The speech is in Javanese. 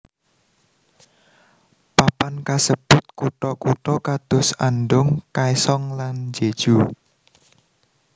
Papan kasebut kutha kutha kados Andong Kaesong lan Jeju